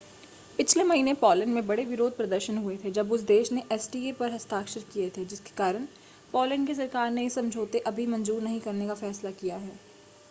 पिछले महीने पोलैंड में बड़े विरोध प्रदर्शन हुए थे जब उस देश ने एसीटीए पर हस्ताक्षर किए थे जिसके कारण पोलैंड की सरकार ने इस समझौते अभी मंजूर नहीं करने का फैसला किया है